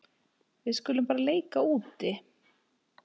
Við skulum bara leika úti.